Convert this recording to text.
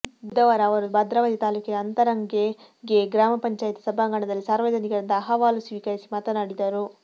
ಬುಧವಾರ ಅವರು ಭದ್ರಾವತಿ ತಾಲೂಕಿನ ಅಂತರಗಂಗೆ ಗ್ರಾಮ ಪಂಚಾಯತ್ ಸಭಾಂಗಣದಲ್ಲಿ ಸಾರ್ವಜನಿಕರಿಂದ ಅಹವಾಲು ಸ್ವೀಕರಿಸಿ ಮಾತನಾಡಿದರು